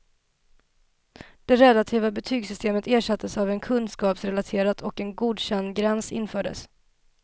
Det relativa betygssystemet ersattes av ett kunskapsrelaterat och en godkändgräns infördes.